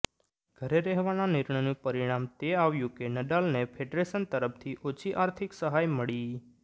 ઘરે રહેવાના નિર્ણયનું પરિણામ તે આવ્યું કે નડાલને ફેડરેશન તરફથી ઓછી આર્થિક સહાય મળી